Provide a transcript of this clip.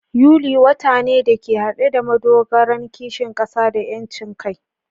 Yuli, wata ne da ke hade da madogaran kishin kasa da 'yancin kai.